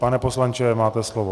Pane poslanče, máte slovo.